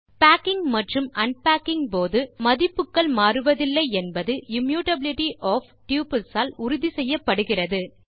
packing மற்றும் unpacking போது மதிப்புகள் மாறுவதில்லை என்பது இம்யூட்டபிலிட்டி ஒஃப் டப்பிள்ஸ் ஆல் உறுதி செய்யப்படுகின்றது